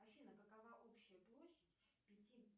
афина какова общая площадь пяти